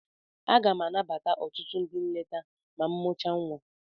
Aga m anabata ọtụtụ ndị nleta ma m mụchaa nwa.